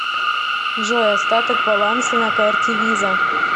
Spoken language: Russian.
джой остаток баланса на карте виза